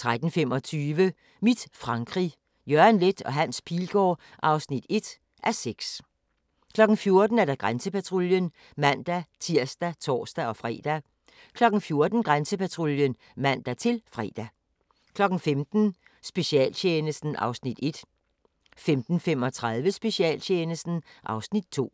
13:25: Mit Frankrig – Jørgen Leth & Hans Pilgaard (1:6) 14:00: Grænsepatruljen (man-tir og tor-fre) 14:30: Grænsepatruljen (man-fre) 15:00: Specialtjenesten (Afs. 1) 15:35: Specialtjenesten (Afs. 2)